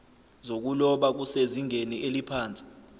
zokuloba kusezingeni eliphansi